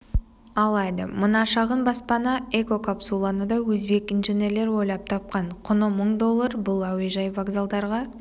алады мына шағын баспана-экокапсуланы да өзбек инженерлер ойлап тапқан құны мың доллар бұл әуежай вокзалдарға